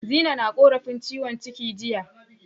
Zinai na korafin ciwon ciki jiya.